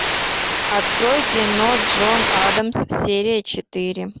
открой кино джон адамс серия четыре